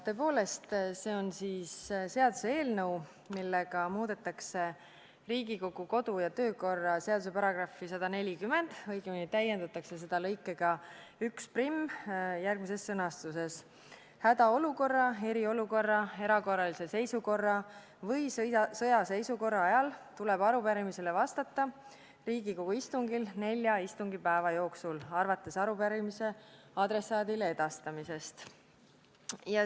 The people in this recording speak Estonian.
Tõepoolest, see on seaduseelnõu, millega muudetakse Riigikogu kodu- ja töökorra seaduse § 140, õigemini täiendatakse seda lõikega 11 järgmises sõnastuses: "Hädaolukorra, eriolukorra, erakorralise seisukorra või sõjaseisukorra ajal tuleb arupärimisele vastata Riigikogu istungil 4 istungipäeva jooksul, arvates arupärimise adressaadile edastamisest.